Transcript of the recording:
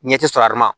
Ɲɛ tɛ sɔrɔ a ma